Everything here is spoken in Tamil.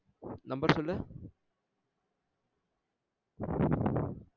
Number சொல்லு